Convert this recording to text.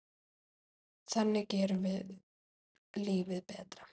Þannig gerum við lífið betra.